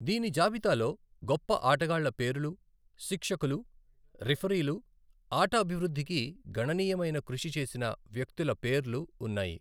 దీని జాబితాలో గొప్ప ఆటగాళ్ల పేరులు, శిక్షకులు, రిఫరీలు, ఆట అభివృద్ధికి గణనీయమైన కృషి చేసిన వ్యక్తుల పేర్లు ఉన్నాయి.